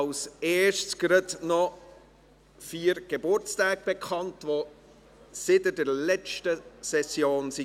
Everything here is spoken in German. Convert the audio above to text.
Zuerst gebe ich noch vier Geburtstage bekannt, welche seit der letzten Session stattfanden.